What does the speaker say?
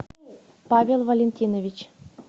павел валентинович